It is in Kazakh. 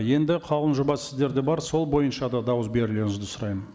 енді қаулының жобасы сіздерде бар сол бойынша да дауыс берулеріңізді сұраймын